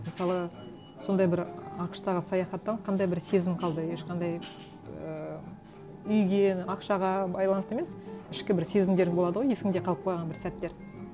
мысалы сондай бір ақш тағы саяхаттан қандай бір сезім қалды ешқандай ыыы үйге ақшаға байланысты емес ішкі бір сезімдер болады ғой есіңде қалып қойған бір сәттер